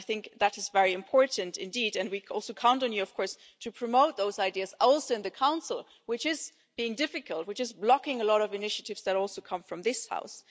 I think that is very important indeed and we count on you to promote those ideas, also in the Council, which is being difficult and blocking a lot of initiatives that also come from this House.